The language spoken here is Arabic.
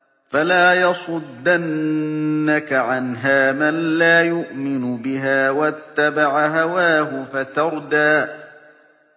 فَلَا يَصُدَّنَّكَ عَنْهَا مَن لَّا يُؤْمِنُ بِهَا وَاتَّبَعَ هَوَاهُ فَتَرْدَىٰ